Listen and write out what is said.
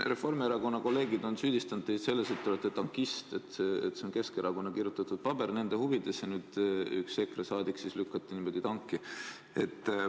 Reformierakonna kolleegid on süüdistanud teid selles, et te olete tankist, et see on Keskerakonna kirjutatud paber, nende huvides, ja nüüd üks EKRE saadik siis lükati niimoodi tanki.